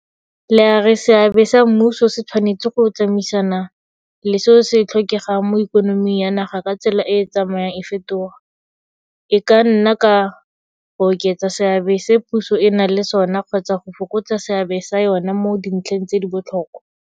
La re seabe sa mmuso, se tshwanetse go tsamaisana le seo se tlhokegang mo ikonoming ya naga ka tsela e e tsamayang e fetoga, e ka nna ka go oketsa seabe se puso e nang le sona kgotsa go fokotsa seabe sa yona mo dintlheng tse di botlhokwa.